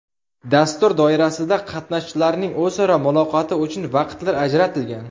Dastur doirasida qatnashchilarning o‘zaro muloqoti uchun vaqtlar ajratilgan.